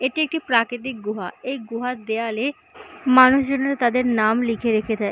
এটি একটি প্রাকৃতিক গুহা এই গুহা দেয়ালে মানুষজনরা তাদের নাম লিখে রেখে দেয়।